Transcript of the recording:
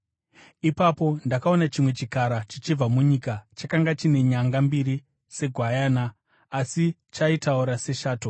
Ipapo ndakaona chimwe chikara, chichibva munyika. Chakanga chine nyanga mbiri segwayana, asi chaitaura seshato.